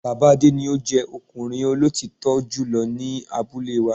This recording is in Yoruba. Bàbá Adé ni o jẹ́ ọkùnrin olótítọ́ jùlọ ni abúlé wa